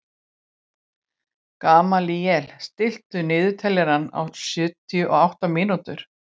Gamalíel, stilltu niðurteljara á sjötíu og átta mínútur.